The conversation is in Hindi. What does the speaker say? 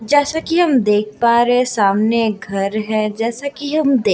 जैसा की हम देख पा रहे सामने एक घर है जैसा कि हम देख--